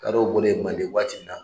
Kadɔw bɔlen manden waati min na